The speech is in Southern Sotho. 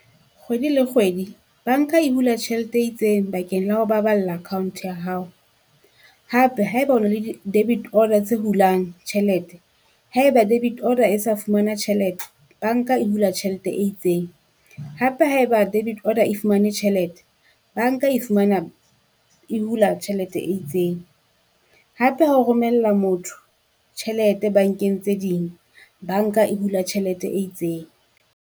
Kgwedi le kgwedi banka e hula tjhelete e itseng bakeng la ho baballa account ya hao. Hape haeba o na le di debit order tse hulang tjhelete, haeba debit order e sa fumana tjhelete, banka e hula tjhelete e itseng. Hape haeba debit order e fumane tjhelete, banka e fumana e hula tjhelete e itseng, hape ha o romella motho tjhelete bankeng tse ding, banka e hula tjhelete e itseng.